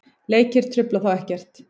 Leikir trufla þá ekkert.